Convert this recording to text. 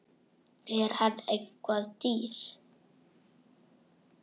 Er hann eitthvað dýr?